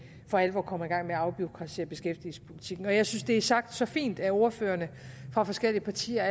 for alvor kommer i gang med at afbureaukratisere beskæftigelsespolitikken jeg synes det allerede er sagt så fint af ordførerne fra forskellige partier